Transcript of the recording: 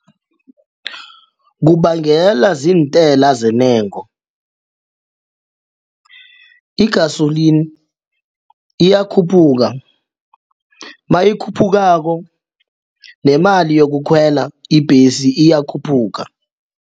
Kubangela ziintela zintengo igasolini iyakhuphuka nayikhuphukako nemali yokukhwela ibhesi iyakhuphuka.